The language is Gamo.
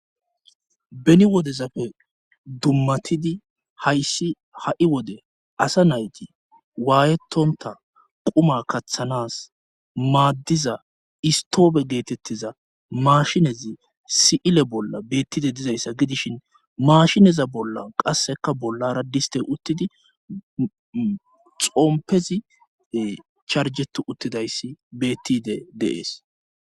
Beni wodezapfe dummatidi hayssi ha'i wode asa nayti waayetonta quma kaththanas maaddiza istoofe geetettiza maashinezi si'ile bolla beettide dizayssa gidishin maashineza bolla qasseka bolla raddiste uttidi xoompezi charjetu uttidayssi bettide deees.